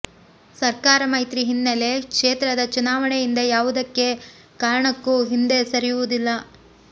ಸರ್ಕಾರ ಮೈತ್ರಿ ಹಿನ್ನಲೆ ಕ್ಷೇತ್ರದ ಚುನಾವಣೆಯಿಂದ ಯಾವುದೇ ಕಾರಣಕ್ಕೂ ಹಿಂದೆ ಸರಿಯುವುದಿಲ್ಲ